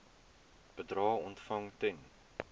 bedrae ontvang ten